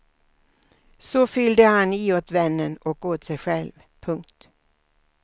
Så fyllde han i åt vännen och åt sig själv. punkt